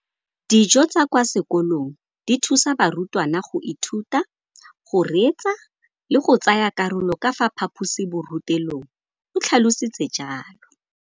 Dijo tsa kwa sekolong dithusa barutwana go ithuta, go reetsa le go tsaya karolo ka fa phaposiborutelong, o tlhalositse jalo.